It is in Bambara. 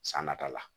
San nata la